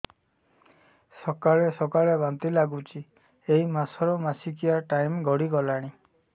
ସକାଳେ ସକାଳେ ବାନ୍ତି ଲାଗୁଚି ଏଇ ମାସ ର ମାସିକିଆ ଟାଇମ ଗଡ଼ି ଗଲାଣି